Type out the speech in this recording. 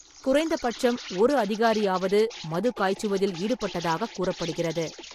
குறைந்த பட்சம் ஒரு அதிகாரியாவது மது காய்ச்சுவதில் ஈடுபட்டதாக கூறப்படுகிறது.